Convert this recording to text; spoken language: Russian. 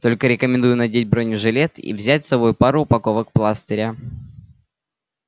только рекомендую надеть бронежилет и взять с собой пару упаковок пластыря